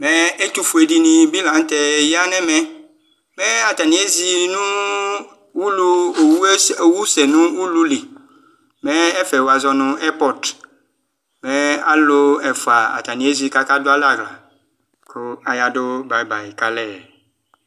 Ɛtʋ fuedini bi lanʋtɛ yanʋ ɛmɛ mɛ atani ezi nʋ ulu owʋe owusɛ nʋ ululi mɛ ɛfɛ wazɔ nʋ ɛrpɔt mɛ alʋ ɛfʋa atani ezi kʋ akadʋ alɛ aɣla kʋ ayadʋ bayi bayi kʋ alɛ